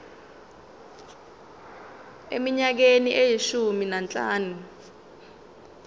eminyakeni eyishumi nanhlanu